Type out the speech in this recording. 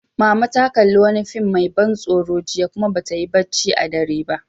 Mama ta kalli wani fim mai ban tsoro jiya, kuma ba ta yi barci a dare ba.